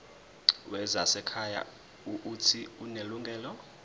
wezasekhaya uuthi unelungelo